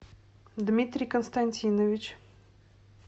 дмитрий константинович